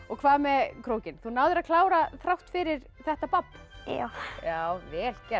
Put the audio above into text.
hvað með krókinn þú náðir að klára þrátt fyrir þetta babb já vel gert